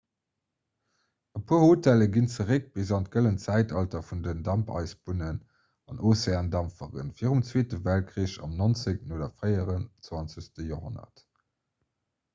e puer hotellen ginn zeréck bis an d'gëllent zäitalter vun den dampeisebunnen an ozeandampferen virum zweete weltkrich am 19 oder fréien 20 joerhonnert